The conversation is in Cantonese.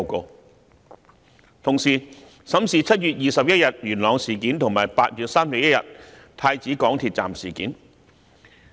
監警會同時審視7月21日在元朗發生的事件，以及8月31日在太子港鐵站發生的事件。